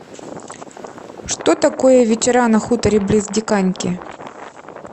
что такое вечера на хуторе близ диканьки